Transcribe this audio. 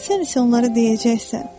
Sən isə onlara deyəcəksən: